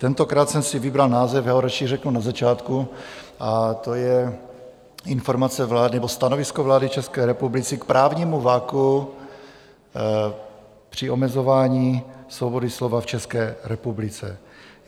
Tentokrát jsem si vybral název, já ho raději řeknu na začátku, a to je Informace vlády nebo Stanovisko vlády České republiky k právnímu vakuu při omezování svobody slova v České republice.